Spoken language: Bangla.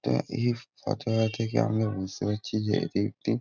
তা ইফ কথাটা থেকে আমরা বুঝতে পারছি যে এটি একটি --